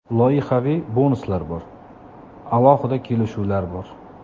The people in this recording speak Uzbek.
Loyihaviy bonuslar bor, alohida kelishuvlar bor.